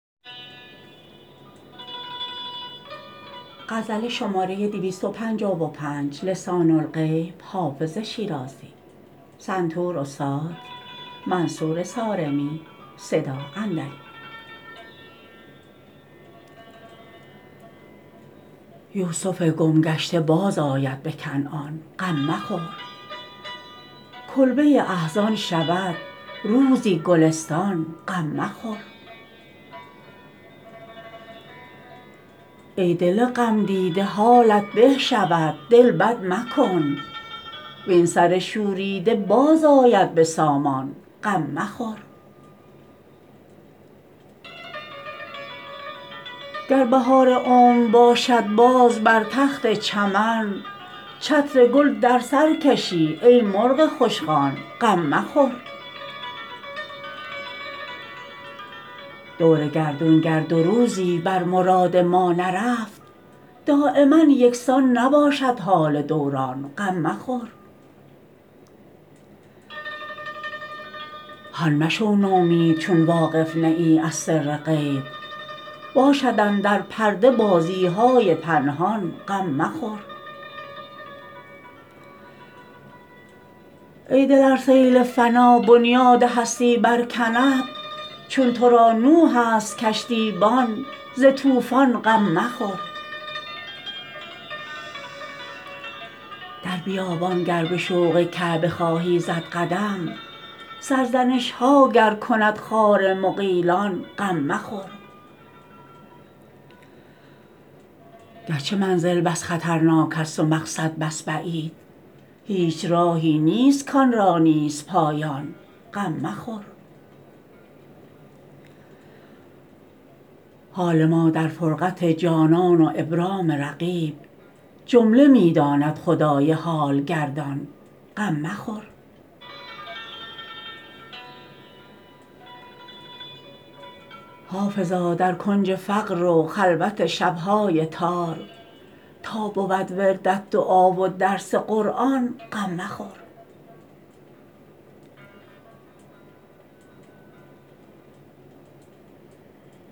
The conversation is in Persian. یوسف گم گشته بازآید به کنعان غم مخور کلبه احزان شود روزی گلستان غم مخور ای دل غمدیده حالت به شود دل بد مکن وین سر شوریده باز آید به سامان غم مخور گر بهار عمر باشد باز بر تخت چمن چتر گل در سر کشی ای مرغ خوشخوان غم مخور دور گردون گر دو روزی بر مراد ما نرفت دایما یکسان نباشد حال دوران غم مخور هان مشو نومید چون واقف نه ای از سر غیب باشد اندر پرده بازی های پنهان غم مخور ای دل ار سیل فنا بنیاد هستی برکند چون تو را نوح است کشتیبان ز طوفان غم مخور در بیابان گر به شوق کعبه خواهی زد قدم سرزنش ها گر کند خار مغیلان غم مخور گرچه منزل بس خطرناک است و مقصد بس بعید هیچ راهی نیست کآن را نیست پایان غم مخور حال ما در فرقت جانان و ابرام رقیب جمله می داند خدای حال گردان غم مخور حافظا در کنج فقر و خلوت شب های تار تا بود وردت دعا و درس قرآن غم مخور